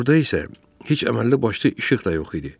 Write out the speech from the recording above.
Burda isə heç əməlli başlı işıq da yox idi.